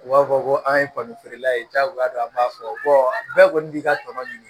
U b'a fɔ ko an ye kɔni feerela ye diyagoya don an b'a fɔ bɛɛ kɔni b'i ka tɔnɔ ɲini